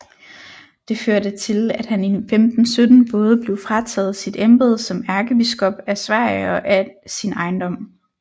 Det førte til at han i 1517 både blev frataget sit embede som ærkebiskop af Sverige og al sin ejendom